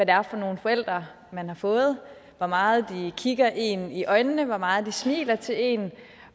er for nogle forældre man har fået hvor meget de kigger en i øjnene hvor meget de smiler til en